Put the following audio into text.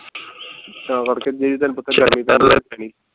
ਤਾਂ ਕਰਕੇ ਦੀ ਦਾ ਤੈਨੂੰ ਪਤਾ